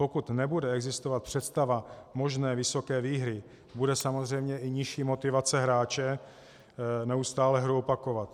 Pokud nebude existovat představa možné vysoké výhry, bude samozřejmě i nižší motivace hráče neustále hru opakovat.